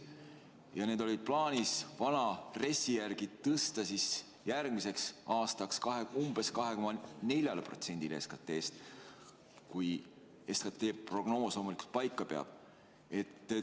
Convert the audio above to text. Vana RES-i järgi oli plaanis tõsta see järgmiseks aastaks umbes 2,4%-ni SKT-st – kui SKT prognoos loomulikult paika peab.